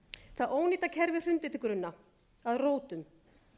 það ónýta kerfi hrundi til grunna að rótum